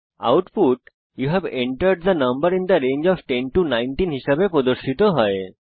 output you have entered the number in the range of 10 19 হিসাবে প্রদর্শিত হয়েছে